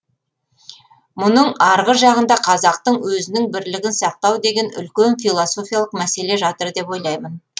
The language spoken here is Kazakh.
мұның арғы жағында қазақтың өзінің бірлігін сақтау деген үлкен философиялық мәселе жатыр деп ойлаймын